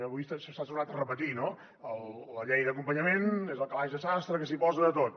avui s’ha tornat a repetir no la llei d’acompanyament és el calaix de sastre que s’hi posa de tot